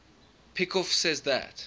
peikoff says that